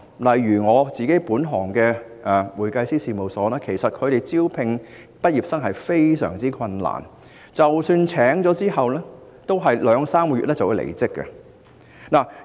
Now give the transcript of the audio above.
例如我本行的會計師事務所，在招聘畢業生時十分困難，即使聘請到人手，他們往往也在兩三個月後離職。